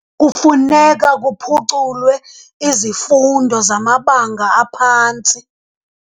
Kufuneka kuphuculwe izifundo zamabanga aphantsi.